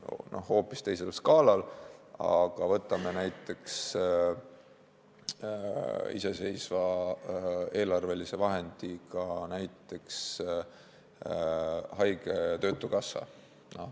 Võtame hoopis teise skaala, näiteks iseseisva eelarvelise vahendiga haige- ja töötukassa.